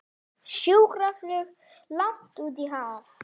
Sjúkraflug langt út í haf